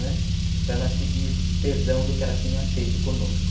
Né, para ela pedir perdão do que ela tinha feito conosco.